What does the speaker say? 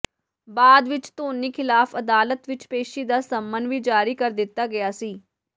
ਬਾਅਦ ਵਿਚ ਧੋਨੀ ਖ਼ਿਲਾਫ਼ ਅਦਾਲਤ ਵਿਚ ਪੇਸ਼ੀ ਦਾ ਸੰਮਨ ਵੀ ਜਾਰੀ ਕਰ ਦਿੱਤਾ ਗਿਆ ਸੀ